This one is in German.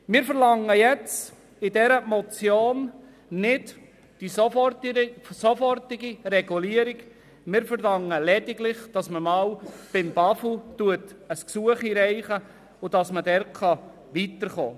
Wir verlangen jetzt in dieser Motion nicht die sofortige Regulierung, sondern lediglich, dass man beim Bundesamt für Umwelt (BAFU) ein Gesuch einreicht, um dort weiterzukommen.